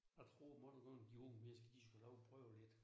Jeg tror mange gange de unge mennesker de skulle have lov at prøve lidt